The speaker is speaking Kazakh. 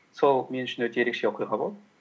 сол мен үшін өте ерекше оқиға болды